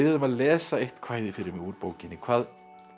um að lesa eitt kvæði fyrir mig úr bókinni hvað